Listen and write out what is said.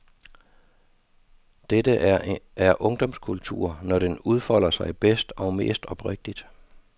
Dette her er ungdomskultur, når den udfolder sig bedst og mest oprigtigt.